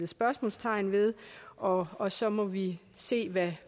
spørgsmålstegn ved og og så må vi se hvad